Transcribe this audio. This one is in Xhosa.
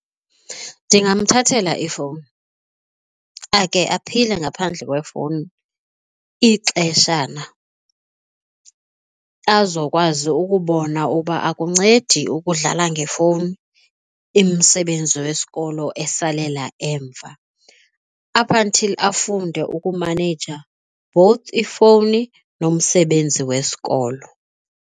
Ndingamthathela ifowuni ake aphile ngaphandle kwefowuni ixeshana azokwazi ukubona uba akuncedi ukudlala ngefowuni umsebenzi wesikolo esalela emva up until afunde ukumaneja both ifwuni nomsebenzi wesikolo.